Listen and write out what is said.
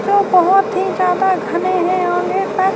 جو بہت ہی زیادہ گھنے ہیں- اوندھے تک--